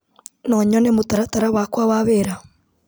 No nyone mũtaratara wakwa wa wĩra.